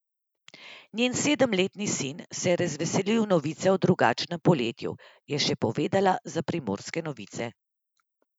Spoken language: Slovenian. Njen sedemletni sin se je razveselil novice o drugačnem poletju, je še povedala za Primorske novice.